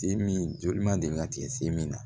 Sen min joli man deli ka tigɛ sen min na